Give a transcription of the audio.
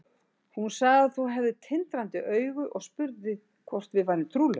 Hún sagði að þú hefðir tindrandi augu og spurði hvort við værum trúlofuð.